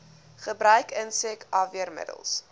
gebruik insek afweermiddels